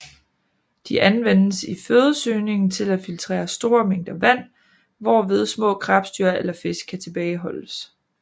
De anvendes i fødesøgningen til at filtrere store mængder vand hvorved små krebsdyr eller fisk kan tilbageholdes